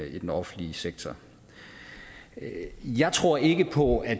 i den offentlige sektor jeg tror ikke på at